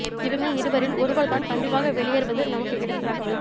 இவங்க இருவரில் ஒருவர் தான் கண்டிப்பாக வெளியேறுவது நமக்கு கிடைத்த தகவல்